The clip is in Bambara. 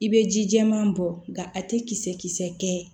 I bɛ ji jɛman bɔ nka a tɛ kisɛ kisɛ kɛ